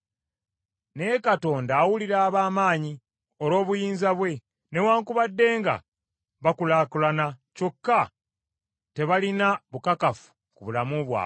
Naye Katonda awalula ab’amaanyi olw’obuyinza bwe. Newaakubadde nga bakulaakulana, kyokka tebalina bukakafu ku bulamu bwabwe.